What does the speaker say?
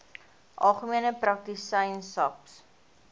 algemene praktisyns aps